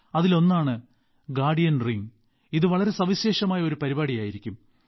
അതിലൊന്നാണ് guardian ring ഇത് വളരെ സവിശേഷമായ ഒരു പരിപാടിയായിരിക്കും